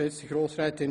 – Das ist der Fall.